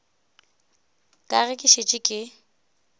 ka ge ke šetše ke